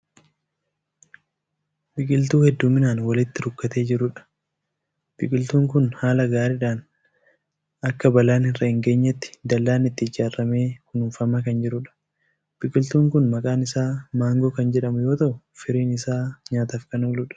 Biqiltuu heeddumminaan walitti rukkatee jiruudha. biqiltuun Kuni haala gaariidhan Akka bal'aan irra hin geenyetti dallaan itti ijaarramee kinuunfamaa Kan jiruudha. biqiltuun Kun maqaan Isaa maangoo Kan jedhamu yoo ta'u firiin Isaa nyaataaf Kan ooludha.